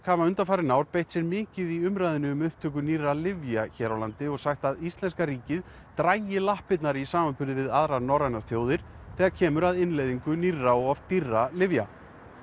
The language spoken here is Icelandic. hafa undanfarin ár beitt sér mikið í umræðunni um upptöku nýrra lyfja hér á landi og sagt íslenska ríkið draga lappirnar í samanburði við aðrar norrænar þjóðir þegar kemur að innleiðingu nýrra og oft dýrra lyfja